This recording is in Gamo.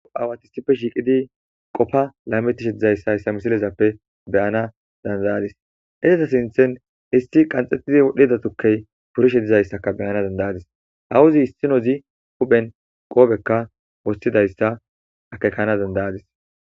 awatisippe shiiqidi qopfa laametishe dizayssa hyssa misilezappe beyana dandayadis edeta sinthen histi qanxxettidi wodhdhida tukkey purshe dizayssaka beyana dandayadis hawuzi hissinozi huphen qoobekka wostidayssa akekana dandayadis